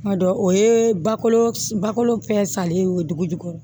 Kuma dɔ o ye ba kolo balo fɛn salen ye o ye duguju ye